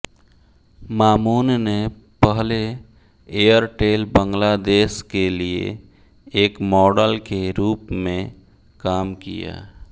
मामून ने पहले एयरटेल बांग्लादेश के लिए एक मॉडल के रूप में काम किया